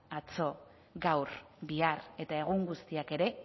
atzo gaur bihar eta egun guztiak ere